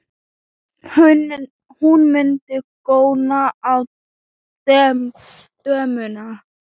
Hún mundi góna á dömuna.